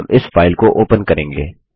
हम इस फाइल को ओपन करेंगे